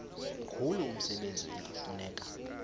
mkhulu umsebenzi ekufuneka